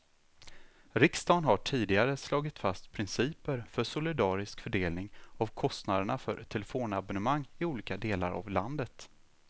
Riksdagen har tidigare slagit fast principer för solidarisk fördelning av kostnaderna för telefonabonnemang i olika delar av landet.